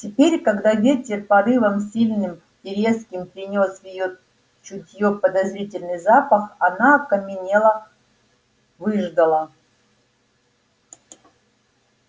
теперь когда ветер порывом сильным и резким принёс в её чутьё подозрительный запах она окаменела выждала